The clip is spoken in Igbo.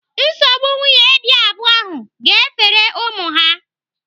Nsogbu nwunye dị abụọ ahụ ga-efere ụmụ ha.